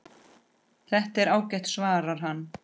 Það er ágætt svarar hann.